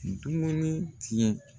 Dumuni tiɲɛ